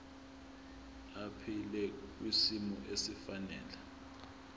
aphile kwisimo esifanele